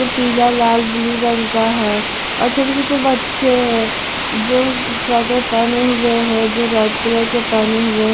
ये पीला लाल ब्लू रंग का है और छोटे छोटे बच्चे हैं जो स्वेटर पहने हुए हैं जो रेड कलर के पहने हुए--